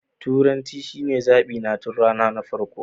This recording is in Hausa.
Turanci shine zaɓi na tun rana na farko.